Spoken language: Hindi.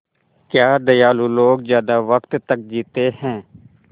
क्या दयालु लोग ज़्यादा वक़्त तक जीते हैं